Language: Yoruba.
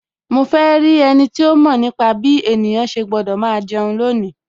Mo fe rí ẹniti ó mọ̀ nípa bí ènìyàn ṣe gbọ́dọ̀ máa jẹun lónìí